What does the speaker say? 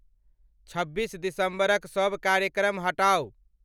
छब्बीस दिसंबरक सब कार्यक्रम हटाऊ